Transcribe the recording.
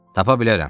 Tapa bilərəm,